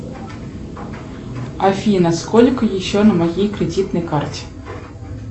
афина сколько еще на моей кредитной карте